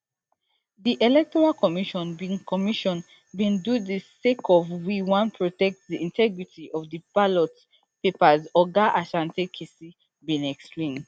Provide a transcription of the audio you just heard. di electoral commission bin commission bin do dis sake of we wan protect di integrity of di ballot papers oga asante kissi bin explain